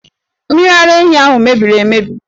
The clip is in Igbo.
Mmiri ara ehi ahụ mebiri emebi!